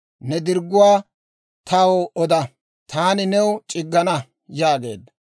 Ne dirgguwaa taw oda; taani new c'iggana» yaageedda.